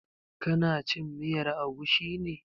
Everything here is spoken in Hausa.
Ka na cin miyar agushi ne?